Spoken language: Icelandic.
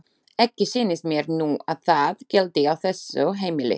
Ekki sýnist mér nú að það gildi á þessu heimili.